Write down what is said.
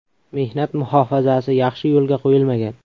Mehnat muhofazasi yaxshi yo‘lga qo‘yilmagan.